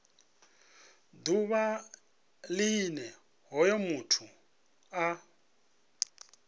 ḓuvha line hoyo muthu a